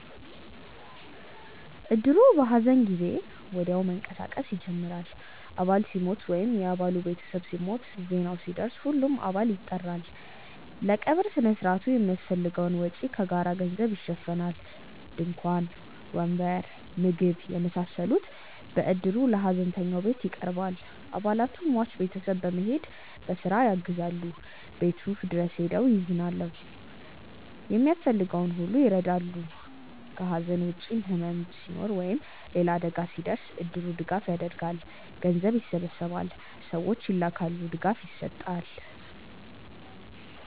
እድሩ በሐዘን ጊዜ ወዲያው መንቀሳቀስ ይጀምራል። አባል ሲሞት ወይም የ አባሉ ቤተሰብ ሲሞት፣ ዜናው ሲደርስ ሁሉም አባል ይጠራል። ለቀብር ሥነ ሥርዓቱ የሚያስፈልገውን ወጪ ከጋራ ገንዘብ ይሸፈናል። ድንኳን፣ ወንበር፣ ምግብ የመሳሰሉት በእድሩ ለሀዘንተኛው ቤት ይቀርባል። አባላቱ ሟች ቤት በመሄድ በስራ ያግዛሉ፣ ቤቱ ድረስ ሄደው ያዝናሉ፣ የሚያስፈልገውን ሁሉ ይረዳሉ። ከሐዘን ውጭም ሕመም ሲኖር ወይም ሌላ አደጋ ሲደርስ እድሩ ድጋፍ ያደርጋል። ገንዘብ ይሰበሰባል፣ ሰዎች ይላካሉ፣ ድጋፍ ይሰጣል።